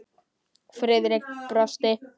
Friðrik brosti.